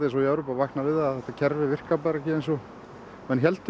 og Evrópu að vakna við að þetta kerfi virkar bara ekki eins og menn héldu